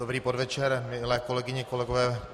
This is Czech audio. Dobrý podvečer, milé kolegyně, kolegové.